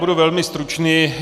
Budu velmi stručný.